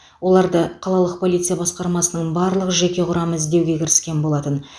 оларды қалалық полиция басқармасының барлық жеке құрамы іздеуге кіріскен болатын